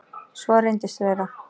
Svo reyndist vera.